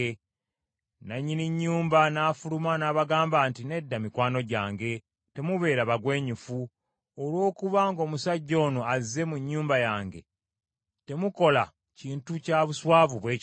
Nannyini nnyumba n’afuluma, n’abagamba nti, “Nedda mikwano gyange, temubeera bagwenyufu. Olw’okuba ng’omusajja ono azze mu nnyumba yange, temukola kintu kya buswavu bwe kityo.